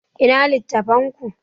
Ina littattafan ku?